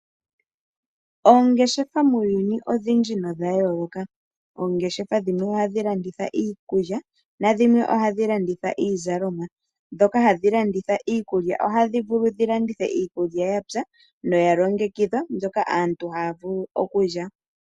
Oongeshefa muuyuni odhindji nodha yooloka. Oongeshefa dhimwe oha dhi landitha iikulya nadhimwe oha dhi landitha iizalomwa. Ndhoka hadhi landitha iikulya oha dhi vulu dhi landithe iikulya yapya noya longekidhwa, mbyoka aantu haya vulu okulya.